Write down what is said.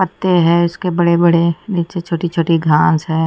पत्ते हैं इसके बड़े बड़े नीचे छोटी छोटी घास है।